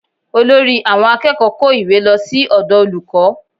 Olórí àwọn akẹ́kọ̀ọ́ kó ìwé lọ sí ọ̀dọ̀ olùkọ́